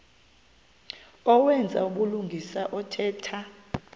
owenza ubulungisa othetha